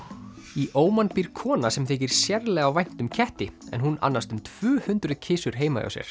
í Óman býr kona sem þykir sérlega vænt um ketti en hún annast um tvö hundruð kisur heima hjá sér